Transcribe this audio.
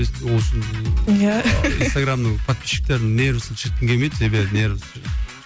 ол үшін иә инстаграмның подписчиктерін нервісін шіріткім келмейді себебі нервісі